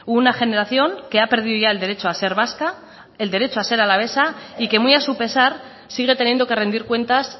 una generación que ha perdido ya el derecho a ser vasca el derecho a ser alavesa y que muy a su pesar sigue teniendo que rendir cuentas